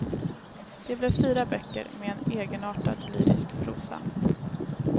De blev fyra böcker med en egenartat lyrisk prosa.